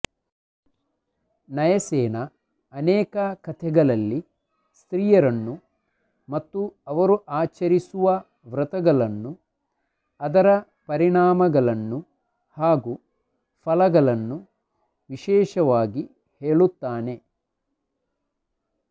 ನಯಸೇನ ಅನೇಕ ಕಥೆಗಳಲ್ಲಿ ಸ್ತ್ರಿಯರನ್ನು ಮತ್ತು ಅವರು ಆಚರಿಸುವ ವ್ರತಗಳನ್ನು ಅದರ ಪರಿಣಾಮಗಳನ್ನು ಹಾಗೂ ಫಲಗಳನ್ನು ವಿಶೇಷವಾಗಿ ಹೇಳುತ್ತಾನೆ